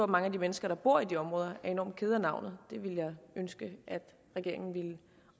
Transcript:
mange af de mennesker der bor i de områder er enormt kede af navnet det vil jeg ønske at regeringen ville